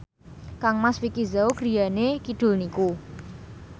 kangmas Vicki Zao griyane kidul niku